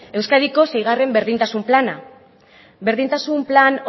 euskadiko seigarren berdintasun plana berdintasun plan